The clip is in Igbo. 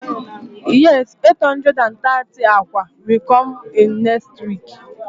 Yes eight hundred and thirty akwa will come in next week